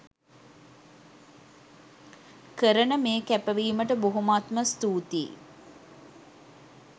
කරන මේ කැපවීමට බොහෝමත්ම ස්තූතියි.